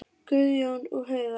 Guðjón og Heiða.